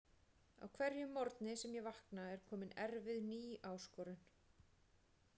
Á hverjum morgni sem ég vakna er komin erfið ný áskorun.